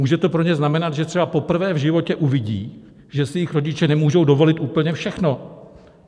Může to pro ně znamenat, že třeba poprvé v životě uvidí, že si jejich rodiče nemůžou dovolit úplně všechno!